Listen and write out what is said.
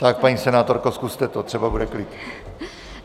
Tak, paní senátorko, zkuste to, třeba bude klid.